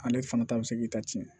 Ale fana ta bɛ se k'i ta ci